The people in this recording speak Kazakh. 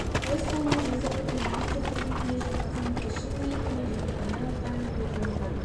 өз қолыммен жаза отыра милиция қызметінде жүріп қызметті шын ниетіммен және адал атқарамын деп жазылған